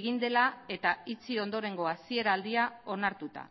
egin dela eta itxi ondorengo hasiera aldia onartuta